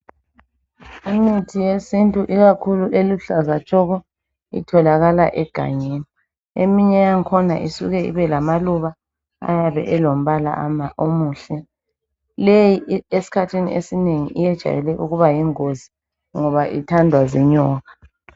Imithi yesintu ikakhulu eluhlaza tshoko itholakala egangeni. Eminye yangikhona isuke ibe lamaluba ayabe elombala omuhle. Leyi esikhathini esinengi iyejayele ukuba yingozi ngoba ithandwa zinyoka.